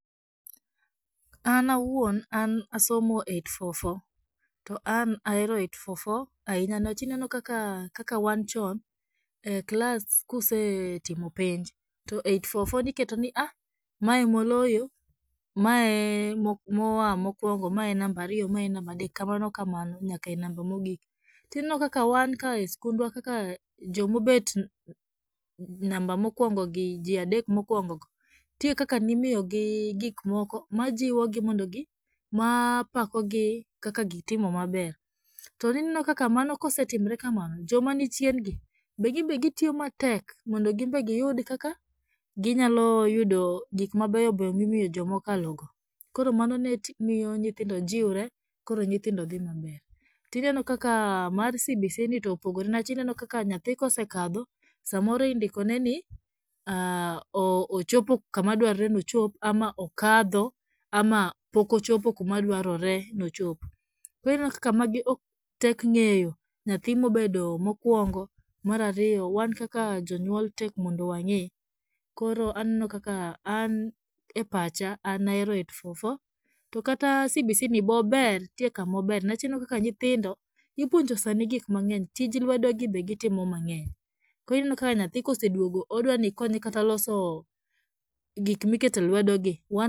An awuon an asomo 8-4-4, to an ahero 8-4-4 ahinya niwach ineno kaka kaka wan chon, e klas kusetimo penj, to 8-4-4 niketoni aah, ma emoloyo, mae emoa mokwongo, mae e namba ariyo, mae e namba adek kamano kamano nyakae namba mogik. Tineno kaka wan kae e skundwa kaka jomobet namba mokwongogi jii adek mokwongogo, nitie kaka nimiyogi gikmoko majiwogi mondo gi, mapakogi kaka gitimo maber, to ineno kaka mano kosetimre kamano, jomanichiengi ginbe gitiyo matek mondo ginbe giyud kaka ginyaloyudo gikmabeyo beyo mimiyo jokmaokalogo, koro mano nemiyo nyithindo jiwre koro nyithindo dhii maber, tineno kaka mar CBC ni toopogore niwach ineno kaka nyathi kosekadho samoro indikone ni ochopo kamadwarore ni ochop, ama okadho ama pokochopo kamadwaroreni ochop, koro ineno kaka magi o tek ng'eyo nyathi mobedo mokwongo, marariyo wan kaka jonyuol tek mondo wang'e koro aneno kaka an e pacha anaero 8-4-4, to kata CBCni bober nitie kamober niwach ineno kaka nyithindo ipuonjo sani gikmangeny, tij lwedogi be gitimo mang'eny, koro ineno kaka nyathi koseduogo odwani ikonye kata loso gikmiketo e lwedogi wan.